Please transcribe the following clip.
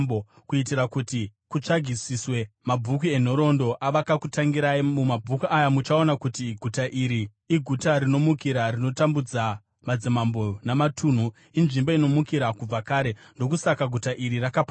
kuitira kuti kutsvagisiswe mumabhuku enhoroondo avakakutangirai. Mumabhuku aya muchaona kuti guta iri iguta rinomukira, rinotambudza madzimambo namatunhu, inzvimbo inomukira kubva kare. Ndokusaka guta iri rakaparadzwa.